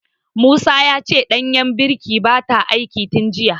Musa ya ce danjar birkin bata aiki tin jiya.